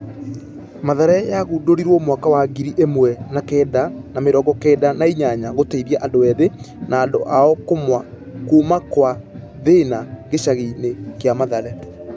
Mathare yagundũrirwo mwaka wa ngiri ĩmwe na kenda na mĩrongo kenda na inyanya gũteithia andũ ethĩ na andũ ao kuumakwathĩna gĩcagi-inĩ gĩa mathare.